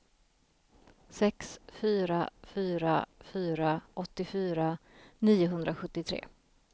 sex fyra fyra fyra åttiofyra niohundrasjuttiotre